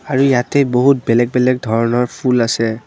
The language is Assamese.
আৰু ইয়াতে বেলেগ বেলেগ ধৰণৰ ফুল আছে।